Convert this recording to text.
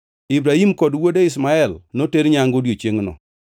Ibrahim kod wuode Ishmael noter nyangu odiechiengno.